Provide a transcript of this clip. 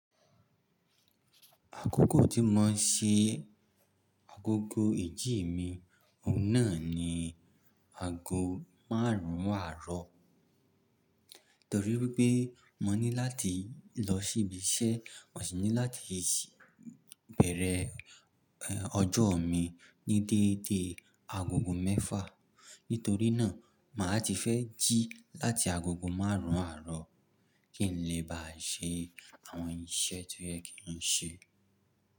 Àkókò tí mo ń ṣe agogo ijj mi òun ná ni ago márùn àrọ̀ nítorí wípé mo ní láti lọ síbi iṣẹ́, mo sì ní láti bẹ̀rẹ̀ ọjọ́ mi ní dédé agogo mẹ́fà. Nítorí náà, mà á ti fẹ́ jí láti agogo márùn ún àárọ̀ kí n lè ba ṣe àwọn iṣẹ́ tó yẹ kí n ṣe.